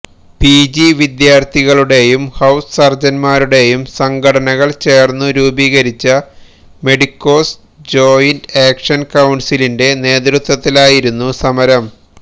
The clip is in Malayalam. പിജി വിദ്യാർഥികളുടെയും ഹൌസ് സർജൻമാരുടെയും സംഘടനകൾ ചേർന്നു രൂപീകരിച്ച മെഡിക്കോസ് ജോയിന്റ് ആക്ഷൻ കൌൺസിലിന്റെ നേതൃത്വത്തിലാണു സമരം